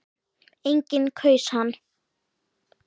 Enginn kaus hann.